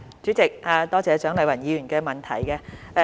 主席，多謝蔣麗芸議員的補充質詢。